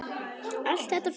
Allt þetta fína.